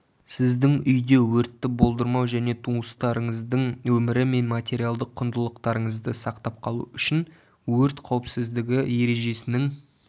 сіздің үйде өртті болдырмау және туыстарыңыздың өмірі мен материалдық құндылықтарыңызды сақтап қалу үшін өрт қауіпсіздігі ережесінің